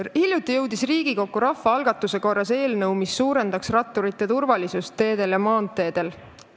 Hiljuti jõudis Riigikokku rahvaalgatuse korras eelnõu, mis suurendaks ratturite turvalisust teedel ja maanteedel.